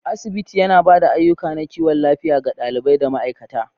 Asibiti, yana ba da ayukan na kiwon lafiya ga ɗalibai da ma'aikata.